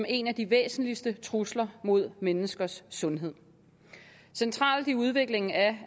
en af de væsentligste trusler mod menneskers sundhed centralt i udviklingen af